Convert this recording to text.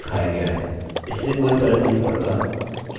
इससे कोई फर्क नहीं पड़ता कि वह कौनसे फॉर्मेट में हैं